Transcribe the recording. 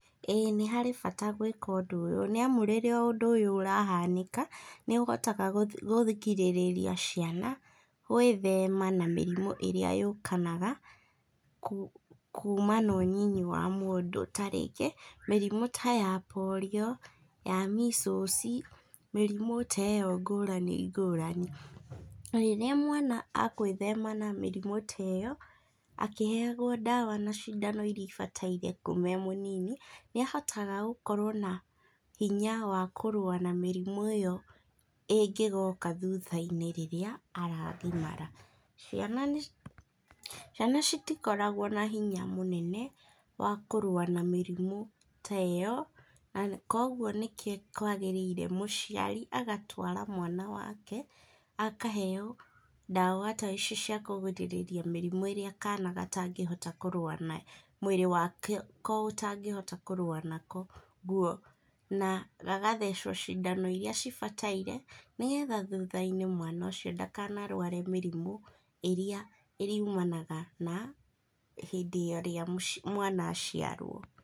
Ĩĩ nĩ harĩ bata gwĩka ũndũ ũyũ, nĩamu rĩrĩa ũndũ ũyũ ũrahanĩka nĩũhotaga kũrigĩrĩria ciana gwĩthema na mĩrimũ ĩrĩa yũkanaga kuma na ũnyinyi wa mũndũ, ta rĩngĩ mĩrimũ ta ya polio ya measles, mĩrimũ ta ĩyo ngũrani ngũrani. Rĩrĩa mwana agwĩthema na mĩrimũ ta ĩyo, akĩheagwo ndawa na cindano iria ibataire kuma e mũnini, nĩahotaga gũkorwo nahinya wa kũrũa na mĩrimũ ĩyo ĩngĩgoka thutha-inĩ rĩrĩa aragimara. Ciana nĩci, ciana citikoragwo na hinya mũnene wa kũrũa na mĩrimũ ta ĩyo na kogwo nĩkĩo kwagĩrĩire mũciari agatwara mwana wake akaheo ndawa ta ici cia kũgirĩrĩria mĩrimũ ĩrĩa kana gatangĩhota kũrũa nayo mwĩrĩ wako ũtangĩhota kũrũa nako naguo, na gagathecwo cindano iria cibataire, nĩgetha thutha-inĩ mwana ũcio ndakanarware mĩrimũ ĩrĩa ĩrĩumanaga na hĩndĩ ĩrĩa mwana aciarwo.